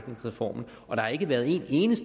en